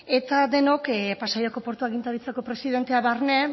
eta denok pasaiako portu agintaritzako presidentea barne